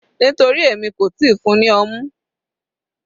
Nítorí èmi kò tíì fún-un ní ọmú.